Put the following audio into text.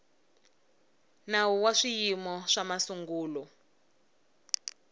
nawu wa swiyimo swa masungulo